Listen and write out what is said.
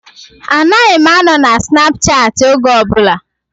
Anaghị m anọ na Snapchaati oge ọbụla